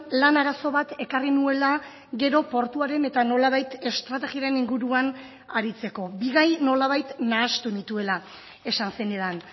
lan arazo bat ekarri nuela gero portuaren eta nolabait estrategien inguruan aritzeko bi gai nolabait nahastu nituela esan zenidan